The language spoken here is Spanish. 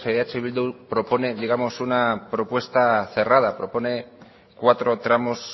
eh bildu propone digamos una propuesta cerrada propone cuatro tramos